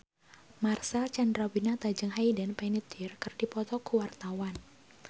Marcel Chandrawinata jeung Hayden Panettiere keur dipoto ku wartawan